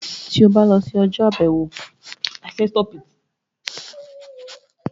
Tí o bá lọ sí ọjọ́-àbẹ̀wò wọn, wà á mọ bí àwọn ọmọ rẹ ṣe ń se.